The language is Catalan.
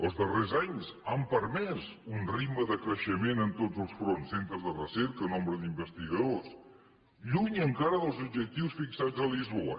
els darrers anys han permès un ritme de creixement en tots els fronts centres de recerca nombre d’investigadors lluny encara dels objectius fixats a lisboa